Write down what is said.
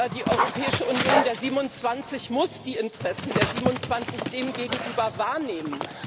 Die Europäische Union der 27 muss die Interessen der 27 demgegenüber wahrnehmen.